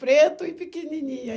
Preto e pequenininho. Aí